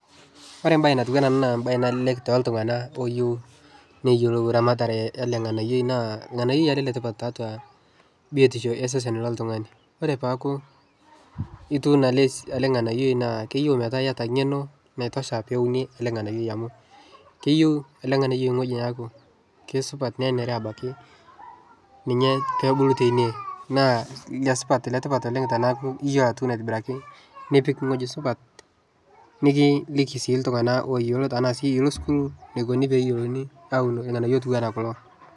kore mbai natuanaa anaa naa mbai nalelek toltungana loyeu neyolou ramatare yale nghanayoi naa lghanayoi alee le tipat taatua bitishoo ee sesen loltungani kore peaku ituuno ale nghanayoi naa keyeu metaa iata ngenoo naitosha piwunie alee nganayoi amu keyeu ale nganayoi nghoji naaku keisupat nenere abakii ninyee peebulu teinie naa inia supat letipat oleng tanaaku iyoloo atuuno aitibiraki nipik nghoji supat nikiliki sii ltungana loyeloo tanaa sii ilo sukuul neikuni peeyolouni awun lghanayo otuwana kuloo